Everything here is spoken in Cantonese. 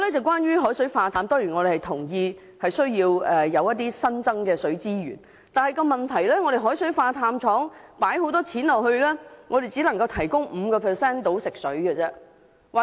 關於海水化淡，我們當然同意要有新增的水資源，但問題是投資巨額金錢興建海水化淡廠後，它卻只能提供香港約 5% 的所需食水。